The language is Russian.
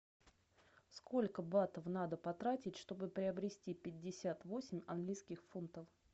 сколько батов надо потратить чтобы приобрести пятьдесят восемь английских фунтов